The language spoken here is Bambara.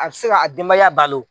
A bi se ka a denbaya balo